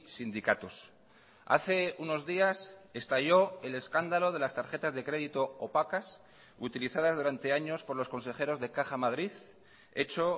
sindicatos hace unos días estalló el escándalo de las tarjetas de crédito opacas utilizadas durante años por los consejeros de caja madrid hecho